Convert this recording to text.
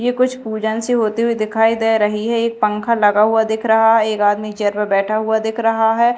यह कुछ पूजन सी होते हुए दिखाई दे रही है एक पंखा लगा हुआ दिख रहा है एक आदमी चेयर पे बैठा हुआ दिख रहा है।